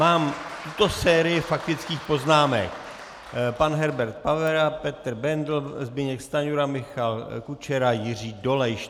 Mám tuto sérii faktických poznámek: pan Herbert Pavera, Petr Bendl, Zbyněk Stanjura, Michal Kučera, Jiří Dolejš.